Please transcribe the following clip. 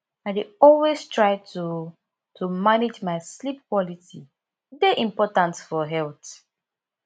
i dey always try to to manage my sleep quality e dey important for health